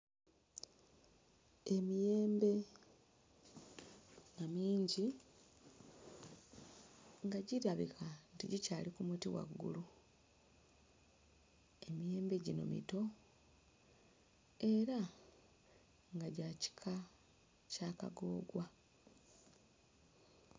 Emiyembe nga mingi nga girabika tegikyali ku muti waggulu. Emiyembe gino mito era nga gya kika kya kagoogwa.